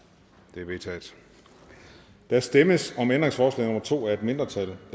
det er vedtaget der stemmes om ændringsforslag nummer to af et mindretal